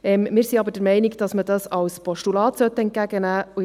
Wir sind aber der Meinung, dass man das als Postulat entgegennehmen sollte.